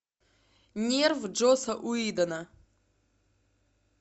нерв джосса уидона